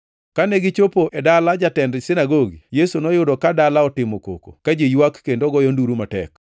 Kane gichopo e dala jatend sinagogi, Yesu noyudo ka dala otimo koko; ka ji ywak kendo goyo nduru matek.